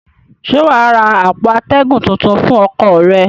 Ṣé wà á ra àpò atẹ́gùn tuntun fún ọkọ̀ rẹ?